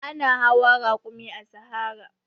Ana hawa rakumi a sahara.